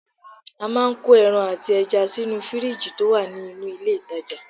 A máa ń kó ẹran àti ẹja sínú fìríìjì tó wà nínú ilé ìtajà